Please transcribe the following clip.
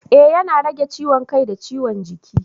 Ee yana rage ciwon kai da ciwon jiki.